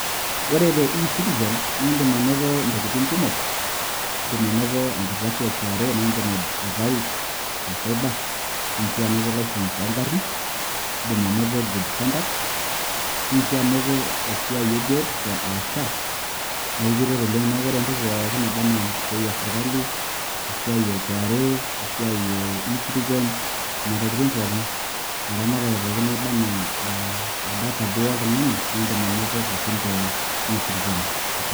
ore te e citizen naidim anoto intokitin kumok, idim anoto enkardasi e KRA naa idim aitau te cyber, idim sii anoto licence oo garin idim anoto good conduct idim sii anoto esiai e biotisho aa SHA naa ekiret oleng neeku ore entoki pookin naba anaa esiai esirkali, esiai e KRA ,esiai ecitizen ,nena tokitin pookin, ina ramatare pookin naba anaa data pookin oltung'ani, naa idim anoto pookin te e citizen.